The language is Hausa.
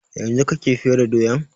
Yanzun kake fere doyan?